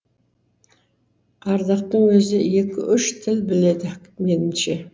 ардақтың өзі екі үш тіл біледі меніңше